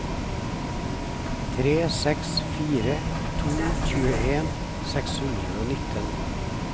tre seks fire to tjueen seks hundre og nitten